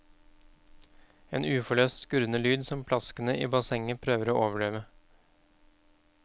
En uforløst skurrende lyd som plaskene i bassenget prøver å overdøve.